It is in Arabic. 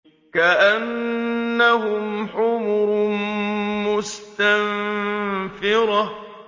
كَأَنَّهُمْ حُمُرٌ مُّسْتَنفِرَةٌ